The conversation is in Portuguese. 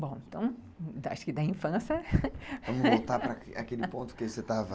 Bom, então, acho que da infância... Vamos voltar para aquele ponto que você estava...